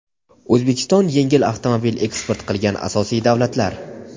O‘zbekiston yengil avtomobil eksport qilgan asosiy davlatlar:.